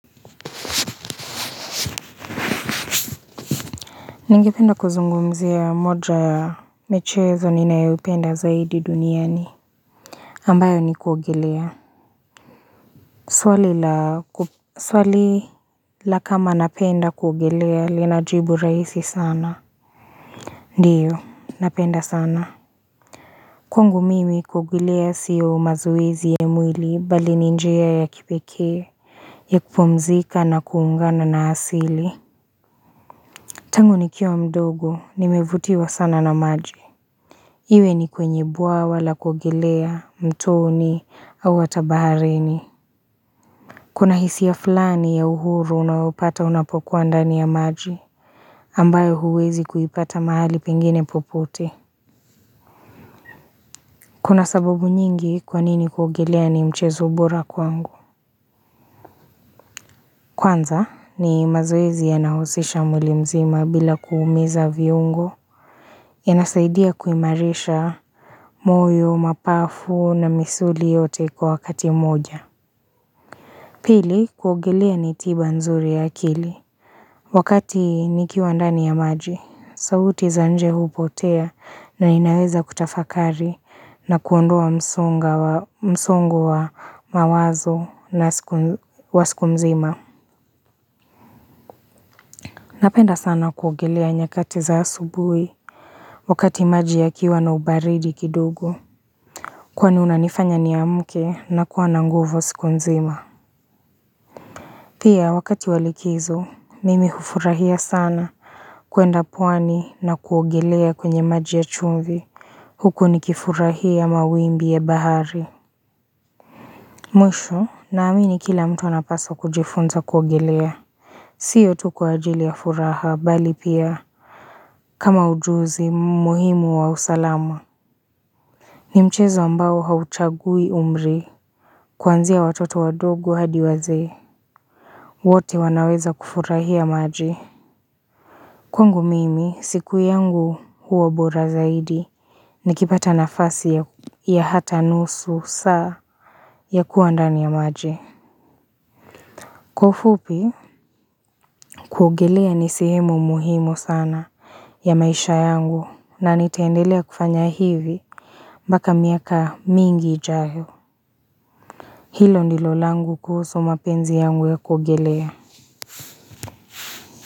Ningependa kuzungumzia moja ya michezo ninayoipenda zaidi duniani ambayo ni kuogelea Swali la kama napenda kuogelea linajibu raisi sana Ndiyo napenda sana Kwangu mimi kuogelea sio mazoezi ya mwili mbali ni njia ya kipekee ya kupumzika na kuungana na asili Tangu nikiwa mdogo nimevutiwa sana na maji Iwe ni kwenye bwawa la kuogelea mtoni au hata baharini. Kuna hisia ya fulani ya uhuru unaopata unapokuwa ndani ya maji. Ambayo huwezi kuipata mahali pengine popote. Kuna sababu nyingi kwanini kuogelea ni mchezo bora kwangu. Kwanza ni mazoezi yanayohusisha mwili mzima bila kuumiza viungo. Yanasaidia kuimarisha moyo, mapafu na misuli yote kwa wakati moja. Pili kuogelea ni tiba nzuri ya akili. Wakati nikiwa ndani ya maji, sauti za nje hupotea na ninaweza kutafakari na kuondoa msongo wa mawazo wa siku nzima. Napenda sana kuogelea nyakati za asubuhi wakati maji yakiwa na ubaridi kidogo. Kwani inanifanya niamke na kuwa na nguvu siku nzima. Pia wakati wa likizo, mimi hufurahia sana kwenda pwani na kuogelea kwenye maji ya chumvi. Huko nikifurahia mawimbi ya bahari. Mwisho, naamini kila mtu anapasa kujifunza kuogelea. Sio tu kwa ajili ya furaha, mbali pia. Kama ujuzi, muhimu wa usalama. Ni mchezo ambao hauchagui umri. Kuanzia watoto wadogo hadi wazee. Wote wanaweza kufurahia maji. Kwangu mimi, siku yangu huwa bora zaidi, nikipata nafasi ya hata nusu saa ya kuwa ndani ya maji. Kwa ufupi, kuogelea ni sehemu muhimu sana ya maisha yangu na nitendelea kufanya hivi mpaka miaka mingi ijayo. Hilo ndilo langu kuhusu mapenzi yangu ya kuogelea.